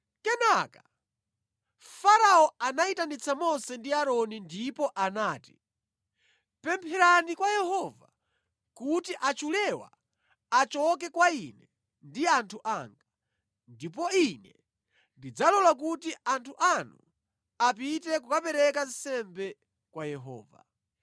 Kenaka, Farao anayitanitsa Mose ndi Aaroni ndipo anati, “Pemphera kwa Yehova kuti achulewa achoke kwa ine ndi anthu anga, ndipo ine ndidzalola kuti anthu anu apite kukapereka nsembe kwa Yehova.”